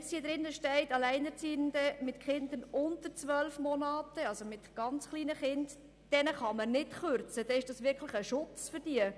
Wenn nun hier steht, dass man Alleinerziehenden mit Kindern unter zwölf Monaten – also mit ganz kleinen Kindern – nicht kürzen könne, dann ist das wirklich ein Schutz für diese Gruppe.